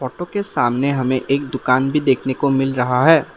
Photo के सामने हमें एक दुकान भी देखने को मिल रहा है।